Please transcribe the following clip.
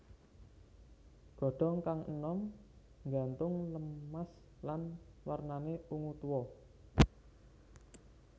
Godhong kang enom nggantung lemas lan wernane ungu tua